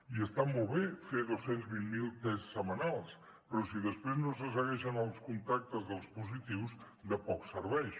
i està molt bé fer dos cents i vint miler tests setmanals però si després no se segueixen els contactes dels positius de poc serveix